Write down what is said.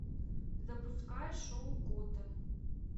запускай шоу готэм